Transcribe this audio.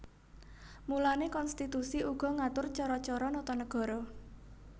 Mulané konstitusi uga ngatur cara cara nata nagara